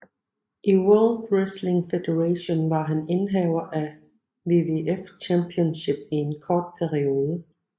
I World Wrestling Federation var han indehaver af WWF Championship i en kort periode